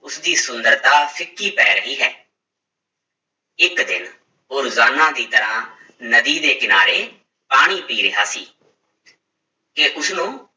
ਉਸਦੀ ਸੁੰਦਰਤਾ ਫਿਕੀ ਪੈ ਰਹੀ ਹੈ ਇੱਕ ਦਿਨ ਉਹ ਰੋਜ਼ਾਨਾ ਦੀ ਤਰ੍ਹਾਂ ਨਦੀ ਦੇ ਕਿਨਾਰੇ ਪਾਣੀ ਪੀ ਰਿਹਾ ਸੀ ਕਿ ਉਸਨੂੰ